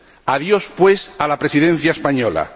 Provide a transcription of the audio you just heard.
Adiós, pues, a la Presidencia española.